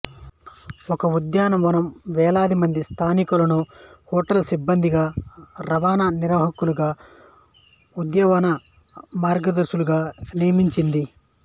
ఈ ఉద్యానవనం వేలాది మంది స్థానికులను హోటల్ సిబ్బందిగా రవాణా నిర్వాహకులుగా ఉద్యానవన మార్గదర్శకులుగా నియమించింది